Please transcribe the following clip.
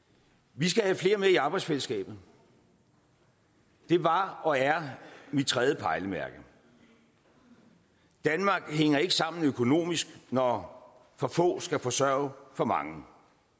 vi skal have flere med i arbejdsfællesskabet det var og er mit tredje pejlemærke danmark hænger ikke sammen økonomisk når for få skal forsørge for mange